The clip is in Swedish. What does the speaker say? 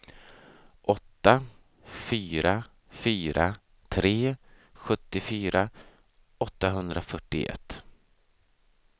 åtta fyra fyra tre sjuttiofyra åttahundrafyrtioett